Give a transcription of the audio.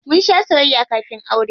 Mun shaa soyayya kafin aure.